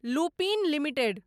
Lupin limited